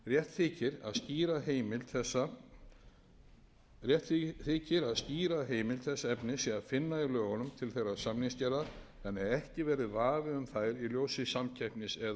stefnumótun í samgöngumálum á hverjum tíma rétt þykir að skýra heimild þessa efnis sé að finna í lögum til þeirrar samningsgerðar þannig að ekki verði vafi um þær í ljósi samkeppnis eða útboðsreglna